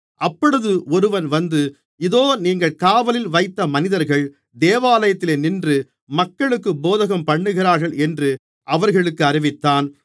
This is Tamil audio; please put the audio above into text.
அப்பொழுது ஒருவன் வந்து இதோ நீங்கள் காவலில் வைத்த மனிதர்கள் தேவாலயத்திலே நின்று மக்களுக்குப் போதகம்பண்ணுகிறார்கள் என்று அவர்களுக்கு அறிவித்தான்